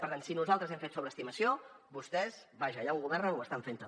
per tant si nosaltres hem fet sobreestimació vostès vaja allà on governen ho estan fent també